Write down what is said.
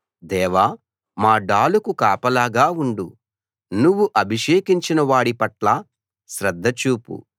దేవా మా డాలుకు కాపలాగా ఉండు నువ్వు అభిషేకించిన వాడి పట్ల శ్రద్ధ చూపు